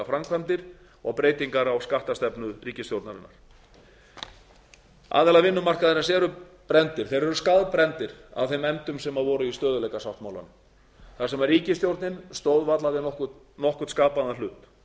framkvæmdir og breytingar á skattastefnu ríkisstjórnarinnar aðilar vinnumarkaðarins eru brenndir þeir eru skaðbrenndir af þeim efndum sem voru í stöðugleikasáttmálum þar sem ríkisstjórnin átak varla við nokkurn skapaðan